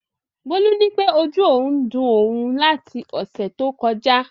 Bólú nípé ojú òun ń dun òun láti ọ̀sẹ̀ tó kọjá